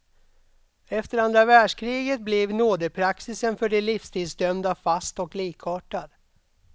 Efter andra världskriget blev nådepraxisen för de livstidsdömda fast och likartad.